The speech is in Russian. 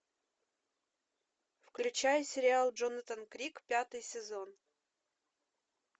включай сериал джонатан крик пятый сезон